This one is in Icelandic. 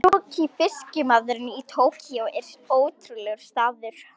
Tsukiji fiskmarkaðurinn í Tókýó er ótrúlegur staður.